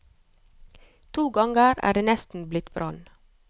To ganger er det nesten blitt brann.